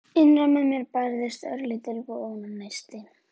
Innra með mér bærðist örlítill vonarneisti.